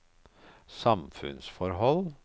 samfunnsforhold